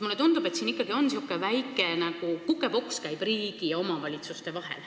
Mulle tundub, et siin ikkagi käib nagu väike kukepoks riigi ja omavalitsuste vahel.